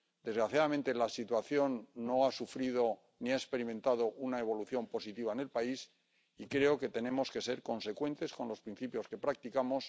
Desgraciadamente, la situación no ha sufrido ni ha experimentado una evolución positiva en el país y creo que tenemos que ser consecuentes con los principios que practicamos.